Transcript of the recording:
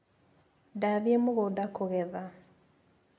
Ndathiĩ mũgũnda kũgetha.